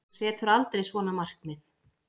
Þú setur aldrei svona markmið.